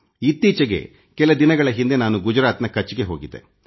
ಇತ್ತೀಚೆಗೆ ಕೆಲ ದಿನಗಳ ಹಿಂದೆ ನಾನು ಗುಜರಾತ್ನ ಕಚ್ ಗೆ ಹೋಗಿದ್ದೆ